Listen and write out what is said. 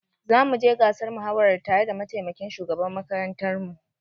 Zamu je gasar muhawarar tare da mataimakin shugaban makarantar mu.